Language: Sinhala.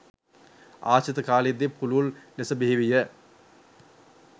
ආශ්‍රිත කාලයේ දී පුළුල් ලෙස බිහිවිය.